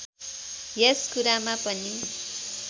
यस कुरामा पनि